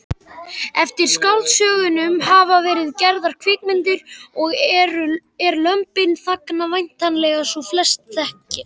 Eftir skáldsögunum hafa verið gerðar kvikmyndir og er Lömbin þagna væntanlega sú sem flestir þekkja.